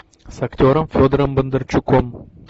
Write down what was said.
с актером федором бондарчуком